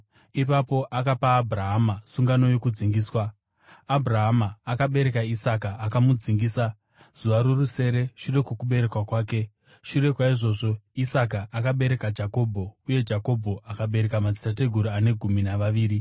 Ipapo akapa Abhurahama sungano yokudzingiswa. Abhurahama akabereka Isaka akamudzingisa zuva rorusere shure kwokuberekwa kwake. Shure kwaizvozvo Isaka akabereka Jakobho, uye Jakobho akabereka madzitateguru ane gumi navaviri.